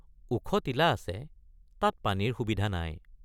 ওখ টিলা আছে তাত পানীৰ সুবিধা নাই।